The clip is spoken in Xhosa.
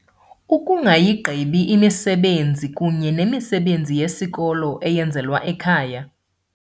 Ukungayigqibi imisebenzi kunye nemisebenzi yesikolo eyenzelwa ekhaya.